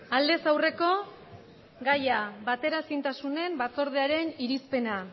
aldez aurreko gaia bateraezintasunen batzordearen irizpena